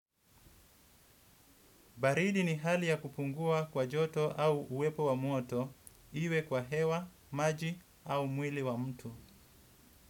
Baridi ni hali ya kupungua kwa joto au uwepo wa moto, iwe kwa hewa, maji au mwili wa mtu.